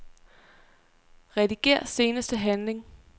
Rediger seneste handling.